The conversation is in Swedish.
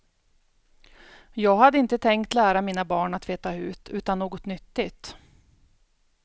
Jag hade inte tänkt lära mina barn att veta hut, utan något nyttigt.